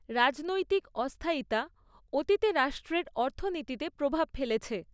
রাজনৈতিক অস্থায়িতা অতীতে রাষ্ট্রের অর্থনীতিতে প্রভাব ফেলেছে।